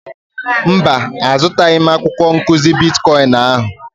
Mba, azụtaghị m akwụkwọ nkụzi bitkọịn ahụ.